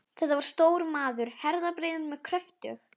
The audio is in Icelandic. Þetta var stór maður, herðabreiður með kröftug